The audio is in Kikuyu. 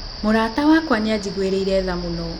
Mũrata wakwa nĩ aanjiguĩrĩire tha mũno.